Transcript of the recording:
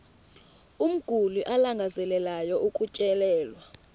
umguli alangazelelayo ukutyelelwa